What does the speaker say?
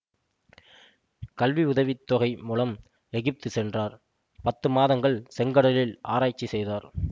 கல்வி உதவி தொகை மூலம் எகிப்து சென்றார் பத்து மாதங்கள் செங்கடலில் ஆராய்ச்சி செய்தார்